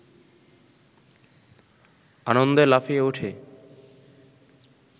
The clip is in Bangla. আনন্দে লাফিয়ে ওঠে